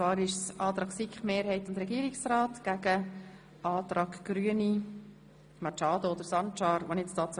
Wir stellen den Antrag SiK-Mehrheit und Regierungsrat dem Antrag Grüne Machado gegenüber.